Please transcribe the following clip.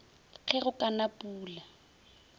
ge go ka na pula